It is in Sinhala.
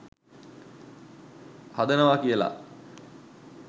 හදනවා කියල